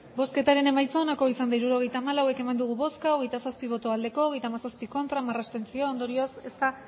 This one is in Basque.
hirurogeita hamalau eman dugu bozka hogeita zazpi bai hogeita hamazazpi ez hamar abstentzio ondorioz ez da